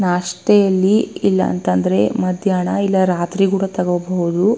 ನಷ್ಟೇ ಇಲ್ಲಿ ಇಲ್ಲಾಂತ್ರ್ ಮದ್ಯಾನ ಅಥವಾ ರಾತ್ರಿ ಕೂಡ ತೋಕೋಲ್ಬೋದು.